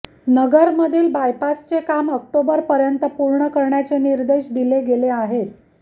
नगरमधील बायपासचे काम ऑक्टोबरपर्यंत पूर्ण करण्याचे निर्देश दिले गेले आहेत